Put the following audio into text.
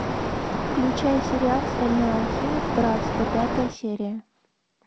включай сериал стальной алхимик братство пятая серия